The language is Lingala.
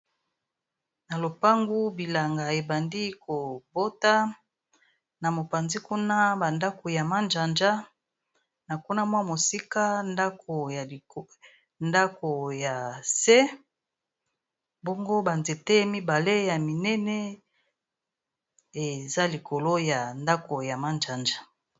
na lopangu bilanga ebandi kobota na mopanzi kuna bandako ya manjanja na kuna mwa mosika ndako ya se bongo banzete mibale ya minene eza likolo ya ndako ya manjanja